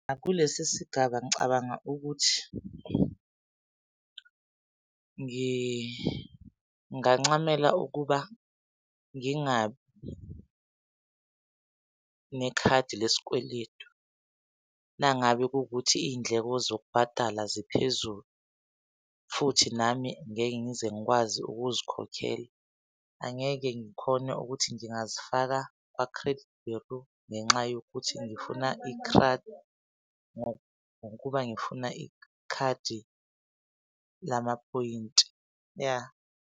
Kulesi sigaba ngicabanga ukuthi ngingancamela ukuba ngingabi nekhadi lesikweletu nangabe kuwukuthi iy'ndleko zokubhatala ziphezulu futhi nami ngeke ngize ngikwazi ukuzikhokhela. Angeke ngikhone ukuthi ngingazifaka kwa-credit bureau ngenxa yokuthi ngifuna ikhadi ngokuba ngifuna ikhadi lamaphoyinti, ya.